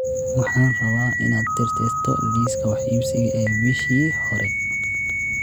Waxaan rabaa inaad tirtirto liiska wax iibsiga ee bishii hore